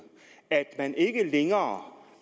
at man ikke længere